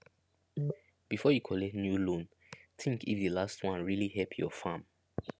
before you collect new loan think if the last one really help your farm